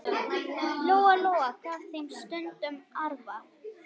Lóa-Lóa gaf þeim stundum arfa.